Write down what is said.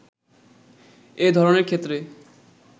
এ ধরণের ক্ষেত্রে